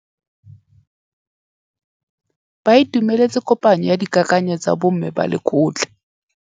Ba itumeletse kôpanyo ya dikakanyô tsa bo mme ba lekgotla.